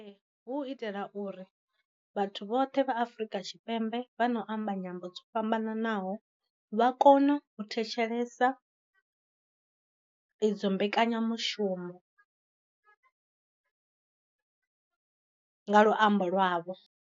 Hu itela uri vhathu vhoṱhe vha afrika tshipembe vha na u amba nyambo dzo fhambananaho vha kono u thetshelesa idzo mbekanya mushumo nga luambo lwa vho.